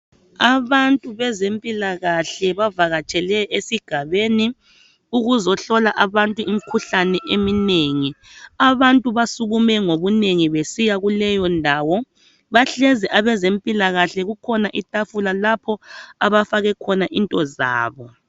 Abantu bezempilakahle bavakatshele esigabeni ukuzohlola abantu imikhuhlane eminengi. Abantu basukume ngobunengi besiya kuleyondawo. Bahlezi abezempilakahle kukhona itafula lapho abafake khona into zabo.